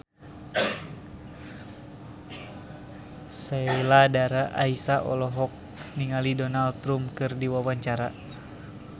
Sheila Dara Aisha olohok ningali Donald Trump keur diwawancara